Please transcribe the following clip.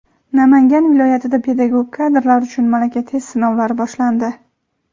Namangan viloyatida pedagog kadrlar uchun malaka (test) sinovlari boshlandi.